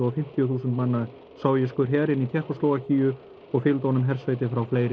fimmtíu þúsund manna sovéskur her inn í Tékkóslóvakíu og fylgdu honum hersveitir frá fleiri